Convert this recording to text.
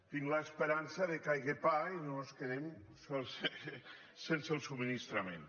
tinc l’esperança que hi hagi pa i no ens quedem sense el subministrament